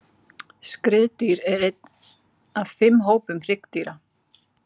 Skriðdýr er einn af fimm hópum hryggdýra.